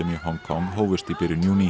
í Hong Kong hófust í byrjun júní